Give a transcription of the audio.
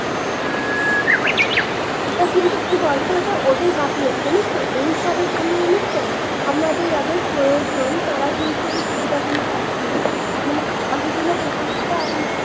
এটা কিন্তু কি বলতো এটা ওদের গাফিলতি জানিস তো এইসবের জন্য জানিস তো আমাদের যাদের প্রয়োজন তারা কিন্তু এই সুবিধা গুলো পাচ্ছেনা মানে প্রকল্পটা একমাত্র